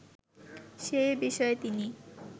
সে বিষয়ে তিনি